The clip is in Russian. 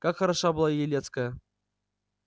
как хороша была елецкая